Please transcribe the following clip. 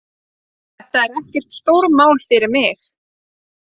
Þetta er ekkert stórmál fyrir mig